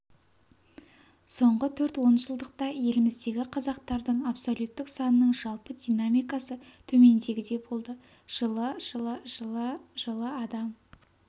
соңғы төрт онжылдықта еліміздегі қазақтардың абсолюттік санының жалпы динамикасы төмендегідей болды жылы жылы жылы жылы адам